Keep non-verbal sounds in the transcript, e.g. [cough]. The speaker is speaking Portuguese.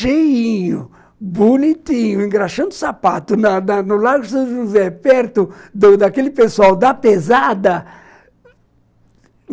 Cheinho, bonitinho, engraxando sapato [laughs] no Largo de São José, perto daquele pessoal da pesada.